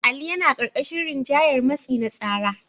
Ali yana ƙarƙashin rinjayar matsi na tsara.